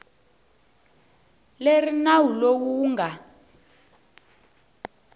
leri nawu lowu wu nga